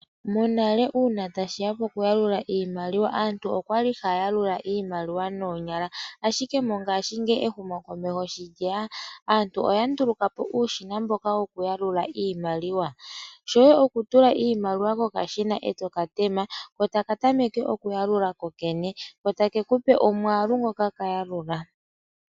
Monale uuna tashi ya pokuyalula iimaliwa aantu okwa li haya yalula iimaliwa noonyala. Ashike mongashingeyi ehumokomeho sho lye ya aantu oya nduluka po uushina mboka wokuyalula iimaliwa. Shoye okutula iimaliwa kokashina eto ka tema ko taka tameke uyalula kokene ko take kupe omwaalu ngoka kayalula.